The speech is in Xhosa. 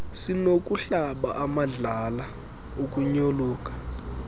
sinokukuhlaba amadlala ukunyoluka